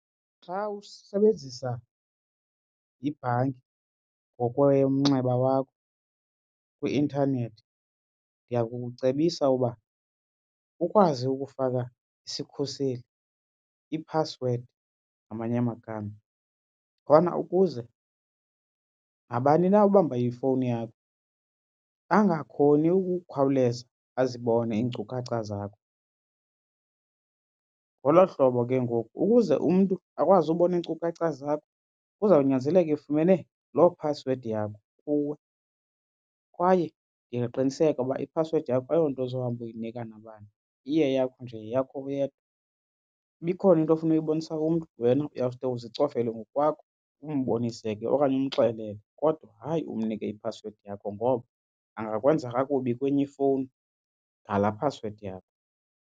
Xa usebenzisa ibhanki ngokwemnxeba wakho kwi-intanethi ndiyakukucebisa uba ukwazi ukufaka isikhuseli, iphasiwedi ngamanye amagama khona ukuze nabani na obamba ifowuni yakho angakhoni ukukhawuleza azibone iinkcukacha zakho. Ngolo hlobo ke ngoku ukuze umntu akwazi ubona iinkcukacha zakho kuzawunyanzeleka efumene loo phasiwedi yakho kuwe. Kwaye ndingaqiniseka uba iphasiwedi yakho ayo nto ozohamba uyinika nabani, iye yakho nje yeyakho wedwa. Uba ikhona into ofuna ukuyibonisa umntu wena uyawuske uzicofele ngokwakho umbonise ke okanye umxelele. Kodwa hayi umnike iphasiwedi yakho ngoba angakwenza kakubi kwenye ifowuni ngala phasiwedi yakho.